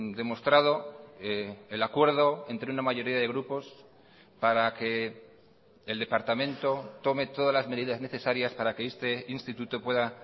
demostrado el acuerdo entre una mayoría de grupos para que el departamento tome todas las medidas necesarias para que este instituto pueda